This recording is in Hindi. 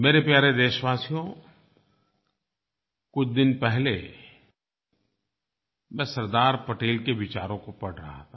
मेरे प्यारे देशवासियो कुछ दिन पहले मैं सरदार पटेल के विचारों को पढ़ रहा था